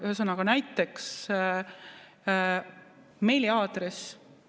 Ühesõnaga näiteks meiliaadress.